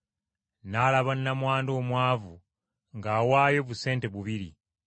N’alaba nnamwandu omwavu ng’awaayo busente bubiri.